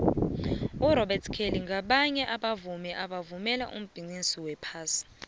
urobert kelly nqabaye babauvmi ebebavumela ibhiqixi qnphasi